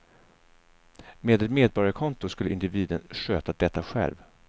Med ett medborgarkonto skulle individen sköta detta själv.